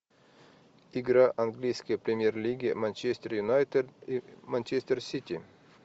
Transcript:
игра английской премьер лиги манчестер юнайтед и манчестер сити